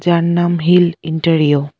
যার নাম হিল ইন্টেরিও ।